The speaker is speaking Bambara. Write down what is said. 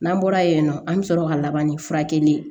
N'an bɔra yen nɔ an bɛ sɔrɔ ka laban ni furakɛli ye